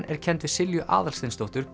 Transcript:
er kennd við Silju Aðalsteinsdóttur